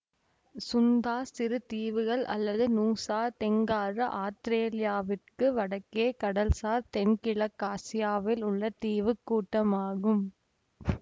சுந்தா சிறு தீவுகள் அல்லது நூசா தெங்காரா ஆத்திரேலியாவிற்கு வடக்கே கடல்சார் தென்கிழக்காசியாவில் உள்ள தீவு கூட்டமாகும்